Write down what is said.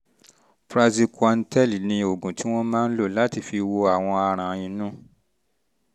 praziquantel ni oògùn tí wọ́n máa ń lò lò láti fi wo àwọn aràn inú